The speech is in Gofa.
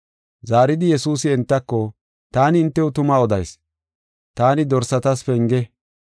Zaaridi Yesuusi entako, “Taani hintew tuma odayis; taani dorsatas penge.